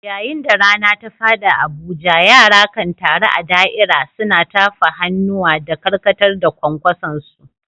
Yayin da rana ta faɗi a Abuja, yara kan taru a da’ira, suna tafa hannuwa da karkatar da kwankwasonsu.